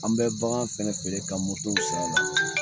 An bɛ bagan fɛnɛ feere ka mɔtow san la.